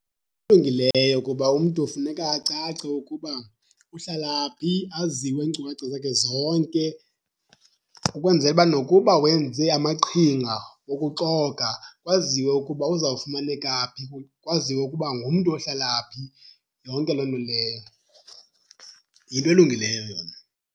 Kuba umntu funeka acace ukuba uhlala phi, aziwe iinkcukacha zakhe zonke. Ukwenzela uba nokuba wenze amaqhinga wokuxoka kwaziwe ukuba uzawufumaneka phi, kwaziwe ukuba ngumntu ohlala phi, yonke loo nto leyo. Yinto elungileyo yona.